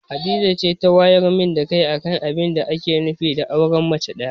Hadiza ce ta wayar min da kai akan abinda ake nufi da auren mace ɗaya.